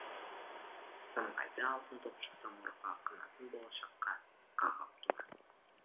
самғайды алтын топшы самұрығы қанатын болашаққа қағып тура